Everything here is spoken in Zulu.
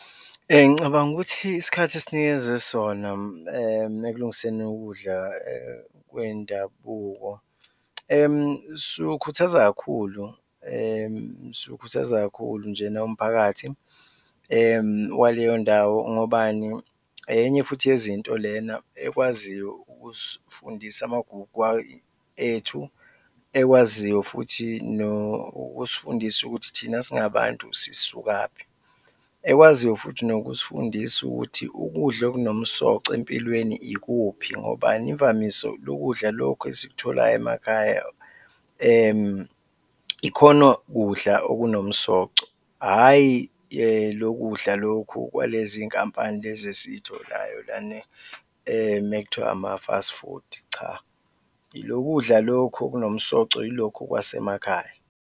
Ngicabanga ukuthi isikhathi esinikezwe sona ekulungiseni ukudla kwendabuko siwukhuthaza kakhulu, siwukhuthaza kakhulu nje nawo umphakathi waleyondawo, ngobani? Enye futhi yezinto lena ekwaziyo ukusifundisa amagugu ethu, ekwaziyo futhi nokusifundisa ukuthi thina singabantu sisukaphi, ekwaziyo futhi nokusifundisa ukuthi ukudla okunomsoco empilweni ikuphi, ngobani? Imvamisa, lokudla lokhu esikutholayo emakhaya ikhona kudla okunomsoco, hhayi lokudla lokhu kwalezi zinkampani lezi esiy'tholayo lana ekuthiwa ama-first food, cha, ilokudla lokhu okunomsoco yilokhu kwasemakhaya.